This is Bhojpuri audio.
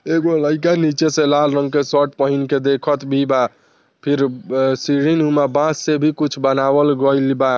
एगो लइका निच्चे से लाल रंग के शर्ट पेहेन के देखत भी बा फिर सीडी बॉस से भी कुछ बनाइल गइल बा।